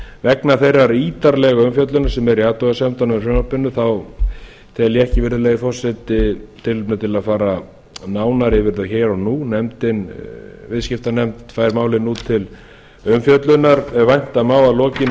vegna þeirra ítarlegu umfjöllunar sem er í athugasemdunum með frumvarpinu tel ég ekki virðulegi forseti tilefni til að fara nánar yfir þetta hér og nú viðskiptanefnd fær málið nú til umfjöllunar ef vænta má að lokinni